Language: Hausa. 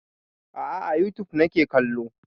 A'a a youtube nake kallo